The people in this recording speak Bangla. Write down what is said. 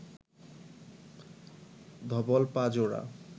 ধবল পা জোড়া